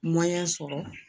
sɔrɔ